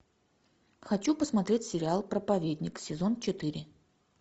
хочу посмотреть сериал проповедник сезон четыре